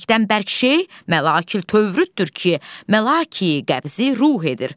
Mələkdən bərk şey Məlakil Tövürrüddür ki, Məlaki Qəbzi Ruh edir.